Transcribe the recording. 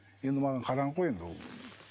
енді маған қараңғы ғой енді ол